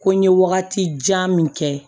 Ko n ye wagati jan min kɛ